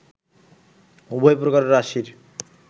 উভয় প্রকার রাশির